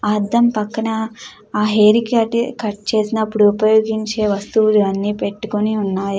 అర్థం పక్కన ఆ హెయిర్ కి కట్ చేసినప్పుడు ఉపయోగించే వస్తువులన్నీ పెట్టుకొని ఉన్నాయి.